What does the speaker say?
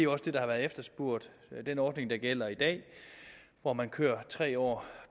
også det der har været efterspurgt den ordning der gælder i dag hvor man kører tre år